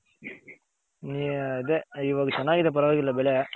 ಈ ಅದೆ ಇವಾಗ ಚೆನ್ನಾಗಿದೆ ಪರವಾಗಿಲ್ಲ ಬೆಳೆ.